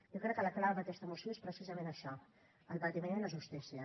jo crec que la clau d’aquesta moció és precisament això el patiment i la justícia